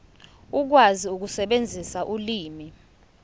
ukwazi ukusebenzisa ulimi